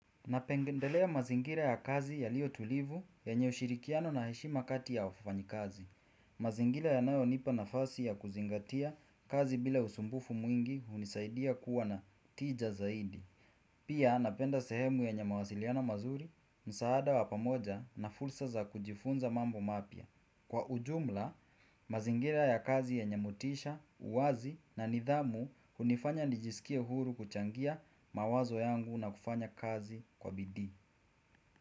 Napengendelea mazingira ya kazi yalio tulivu yenye ushirikiano na heshima kati ya wafanyikazi. Mazingira yanayo nipa nafasi ya kuzingatia kazi bila usumbufu mwingi hunisaidia kuwa na tija zaidi. Pia napenda sehemu yenye mawasiliano mazuri, msaada wa pamoja na fulsa za kujifunza mambo mapya. Kwa ujumla, mazingira ya kazi yenye motisha, uwazi na nidhamu hunifanya nijisikie huru kuchangia mawazo yangu na kufanya kazi kwa bidii.